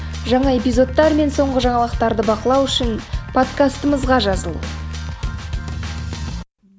жаңа эпизодтар мен соңғы жаңалықтарды бақылау үшін подкастымызға жазыл